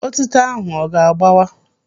Otịto ahụ ọ ga-agbawa?